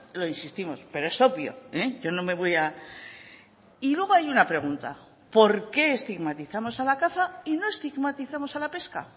lo insistimos pero es obvio yo no me voy a y luego hay una pregunta por qué estigmatizamos a la caza y no estigmatizamos a la pesca